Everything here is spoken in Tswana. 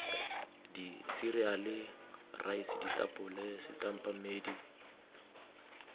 diseriale raese ditapole setampa mmedi